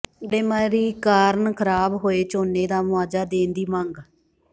ਗੜੇਮਾਰੀ ਕਾਰਨ ਖਰਾਬ ਹੋਏ ਝੋਨੇ ਦਾ ਮੁਆਵਜ਼ਾ ਦੇਣ ਦੀ ਮੰਗ